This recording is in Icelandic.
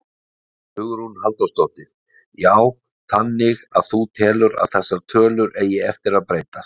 Hugrún Halldórsdóttir: Já þannig að þú telur að þessar tölur eigi eftir að breytast?